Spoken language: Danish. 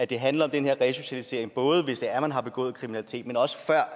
det handler om den her resocialisering både hvis man har begået kriminalitet men også før